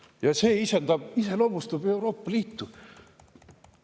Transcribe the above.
Ja see iseloomustab Euroopa Liitu.